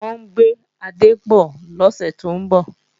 Wọ́n ń gbé adé bọ̀ lọ́sẹ̀ tó ń bọ̀